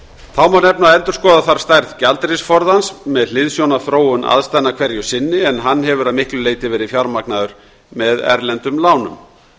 þá má nefna að endurskoða þarf stærð gjaldeyrisforðans með hliðsjón af þróun aðstæðna hverju sinni en hann hefur að miklu leyti verið fjármagnaður með erlendum lánum